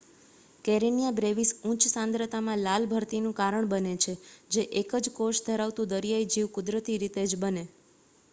Karenia brevis ઉચ્ચ સાંદ્રતામાં લાલ ભરતીનું કારણ બને છે જે એક જ કોષ ધરાવતું દરિયાઈ જીવ કુદરતી રીતે જ બને